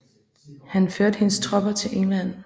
Han førte hendes tropper til England